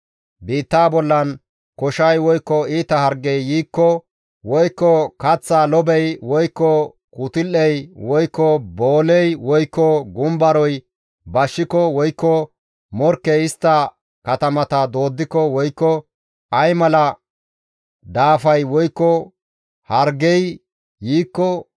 «Biittaa bollan koshay woykko iita hargey yiikko, woykko kaththaa lobey, woykko kutul7ey, woykko booley, woykko gumbaroy bashshiko, woykko morkkey istta katamata dooddiko, woykko ay mala daafay woykko hargey yiikko,